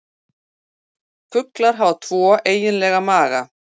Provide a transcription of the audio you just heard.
Fuglar hafa tvo eiginlega maga.